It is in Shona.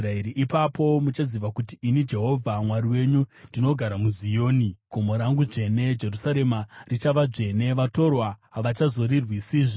“Ipapo muchaziva kuti ini Jehovha Mwari wenyu, ndinogara muZioni, gomo rangu dzvene. Jerusarema richava dzvene; vatorwa havachazorirwisazve.